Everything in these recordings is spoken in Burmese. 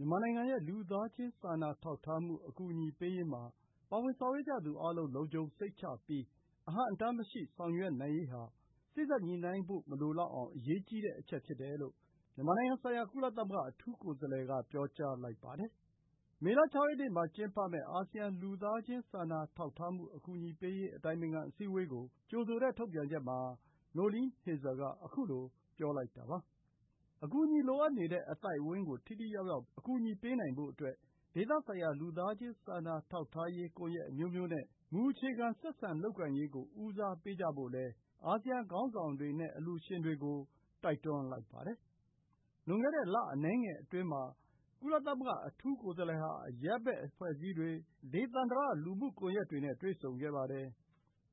မြန်မာနိုင်ငံရဲ့ လူသားချင်း စာနာထောက်ထားမှုအကူအညီပေးရေးမှာ ပါဝင် ဆောင်ရွက်ကြသူ အားလုံး လုံခြုံစိတ်ချပြီး အဟန့်အတားမရှိ ဆောင်ရွက်နိုင်ရေးဟာ စေ့စပ်ညှိုနှိုင်းဖို့ မလိုလောက်အောင် အရေးကြီးတဲ့အချက် ဖြစ်တယ်လို့ မြန်မာနိုင်ငံဆိုင်ရာ ကုလသမဂ္ဂအတွင်းရေးမှူးချုပ်ရဲ့ အထူးကိုယ်စားလှယ် က ပြောကြားလိုက်ပါတယ်။ မေလ ၆ ရက်နေ့မှာ ကျင်းပမယ့် အာဆီယံ လူသားချင်းစာနာထောက်ထားမှု အကူအညီပေးရေး အတိုင်ပင်ခံ အစည်းအဝေးကို ကြိုဆိုတဲ့ထုတ်ပြန်ချက်မှာ Noeleen Heyzer က ခုလို ပြောလိုက်တာပါ။ အကူအညီ လိုအပ်နေတဲ့ အသိုက်အဝန်းကို ထိထိရောက်ရောက် ပေးနိုင်ဖို့အတွက် ဒေသဆိုင်ရာ လူသားချင်း စာနာထောက်ထားရေး ကွန်ယက်အမျိုးမျိုးနဲ့ မူအခြေခံ ဆက်ဆံလုပ်ကိုင်ရေးကို ဦးစားပေးကြဖို့လည်း အာဆီယံ ခေါင်းဆောင်တွေနဲ့ အလှူရှင်တွေကို တိုက်တွန်းလိုက်ပါတယ်။ လွန်ခဲ့တဲ့လအနည်းငယ်အတွင်းမှာ ကုလသမဂ္ဂအထူးကိုယ်စားလှယ်ဟာ အရပ်ဘက်အဖွဲ့အစည်းတွေ၊ ဒေသန္တရ လူမှု ကွန်ယက်တွေနဲ့ တွေ့ဆုံခဲ့ပါတယ်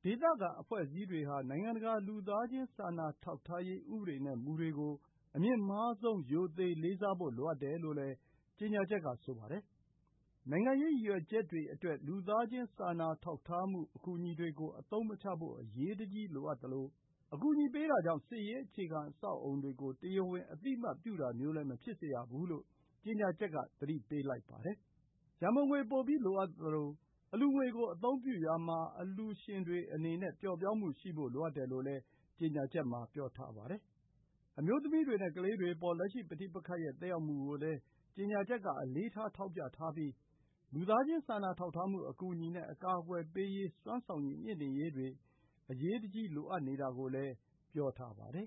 ။ ဒေသခံအဖွဲ့အစည်းတွေဟာ နိုင်ငံတကာလူသားချင်း စာနာထောက်ထားရေး ဥပဒေနဲ့ မူတွေကို အမြင့်မားဆုံး ရိုသေလေးစားဖို့လိုတယ်လို့လည်း ကြေညာချက်က ဆိုပါတယ်။ နိုင်ငံရေးရည်ရွယ်ချက်အတွက် လူသားချင်းစာနာထောက်ထားမှု အကူအညီတွေကို အသုံးမချဖို့ အရေးတကြီးလိုအပ်သလို အကူအညီပေးတာကြောင့် စစ်ရေး အခြေခံအဆောက်အအုံတွေကို တရားဝင်အသိအမှတ်ပြုတာမျိုးလည်း မဖြစ်စေရဘူးလို့ ကြေညာချက်က သတိပေးထားပါတယ်။ ရံပုံငွေပိုပြီး လိုအပ်သလို အလှူငွေကို အသုံးပြုရာမှာ အလှူရှင်တွေအနေနဲ့ ပျော့ပျောင်းမှုရှိဖို့ လိုအပ်တယ်လိုလည်း ကြေညာချက်မှာ ပြောထားပါတယ်။ အမျိုးသမီးတွေနဲ့ ကလေးတွေအပေါ် လက်ရှိ ပဋိပက္ခရဲ့ သက်ရောက်မှုကိုလည်း ကြေညာချက်က အလေးထား ထောက်ပြထားပြီး လူသားချင်း စာနာထောက်ထားမှုအကူအညီနဲ့ အကာအကွယ်ပေးရေး၊ စွမ်းဆောင်ရည် မြှင့်တင်ရေးတွေ အရေးပေါ်လိုအပ်နေတာကိုလည်း ပြောထားပါတယ်